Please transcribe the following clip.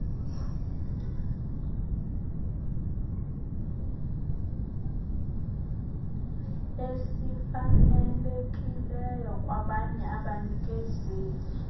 esifanelekileyo kwabanye abanikezeli